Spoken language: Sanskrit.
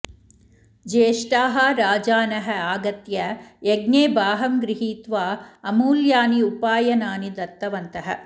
ज्येष्ठाः राजानः आगत्य यज्ञे भागं गृहीत्वा अमूल्यानि उपायनानि दत्तवन्तः